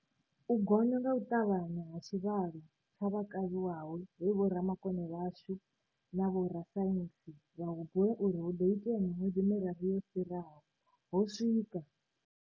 U gonya nga u ṱavhanya ha tshivhalo tsha vha kavhiwaho he vhomakone vhashu na vho-rasaintsi vha hu bula uri hu ḓo itea miṅwedzi miraru yo fhi-raho, ho swika.